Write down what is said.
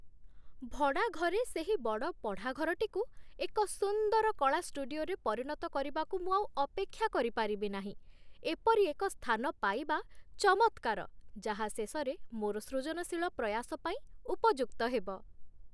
ଭଡ଼ାଘରେ ସେହି ବଡ଼ ପଢ଼ାଘରଟିକୁ ଏକ ସୁନ୍ଦର କଳା ଷ୍ଟୁଡିଓରେ ପରିଣତ କରିବାକୁ ମୁଁ ଆଉ ଅପେକ୍ଷା କରିପାରିବି ନାହିଁ। ଏପରି ଏକ ସ୍ଥାନ ପାଇବା ଚମତ୍କାର ଯାହା ଶେଷରେ ମୋର ସୃଜନଶୀଳ ପ୍ରୟାସ ପାଇଁ ଉପଯୁକ୍ତ ହେବ।